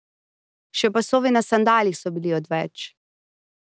Še pasovi na sandalih so bili odveč.